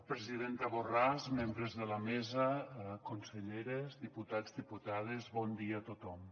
presidenta borràs membres de la mesa conselleres diputats diputades bon dia a tothom